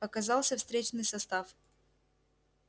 показался встречный состав